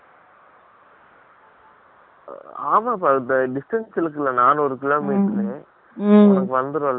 ஆமா பா ! நானூரு kilometer ரூ உனக்கு distance இருக்கு ல உனக்கு வந்துரும் ல